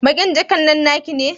Baƙin jakan nan naki ne?